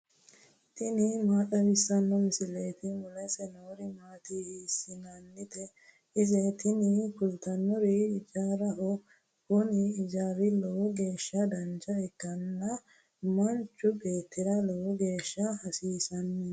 tini maa xawissanno misileeti ? mulese noori maati ? hiissinannite ise ? tini kultannori ijaaraho. kuni ijaarino lowo geeshsha dancha ikkanna manchu beettira lowo geeshsha hasiisanno.